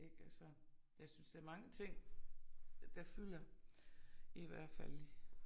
Ik altså jeg synes der mange ting der fylder i hvert fald